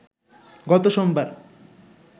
গত সোমবার